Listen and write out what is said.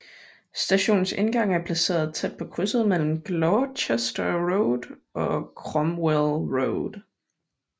Stationens indgang er placeret tæt på krydset mellem Gloucester Road og Cromwell Road